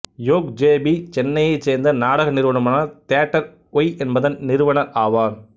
yoke JP சென்னையைச் சேர்ந்த நாடக நிறுவனமான தியேட்டர் ஒய் என்பதன் நிறுவனர் ஆவார்